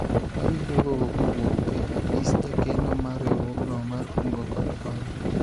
awinjo koko kowuok e apis jakeno mar riwruogno mar kungo kod hola